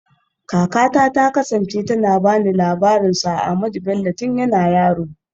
Kakata ta kasance tana ba ni labarin Sir Ahmadu Bello tun yana yaro